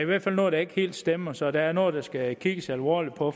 hvert fald noget der ikke helt stemmer så der er noget der skal kigges alvorligt på